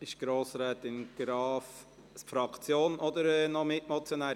Spricht Grossrätin Graf für die Fraktion oder als Mitmotionärin?